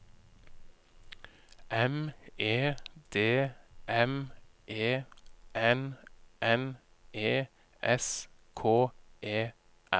M E D M E N N E S K E R